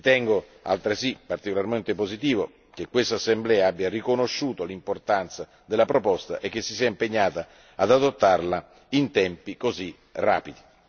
Ritengo altresì particolarmente positivo che questa Assemblea abbia riconosciuto l'importanza della proposta e che si sia impegnata ad adottarla in tempi così rapidi.